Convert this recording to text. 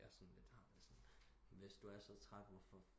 Jeg sådan lidt har det sådan hvis du er for træt hvorfor